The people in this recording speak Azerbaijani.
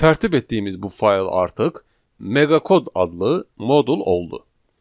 Tərtib etdiyimiz bu fayl artıq Meqakod adlı modul oldu.